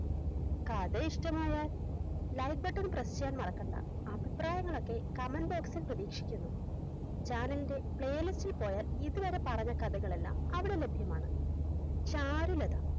കഥ ഇഷ്ടമായാൽ Like button press ചെയ്യാൻ മറക്കണ്ട അഭിപ്രായങ്ങളൊക്കെ Comment box ഇൽ പ്രദീക്ഷിക്കുന്നു Channel ൻറെ Playlist ഇൽ പോയാൽ ഇതുവരെ പറഞ്ഞ കഥകളെല്ലാം അവിടെ ലഭ്യമാണ് ചാരുലത